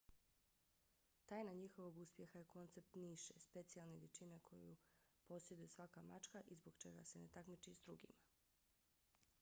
tajna njihovog uspjeha je koncept niše specijalne vještine koju posjeduje svaka mačka i zbog čega se ne takmiči s drugima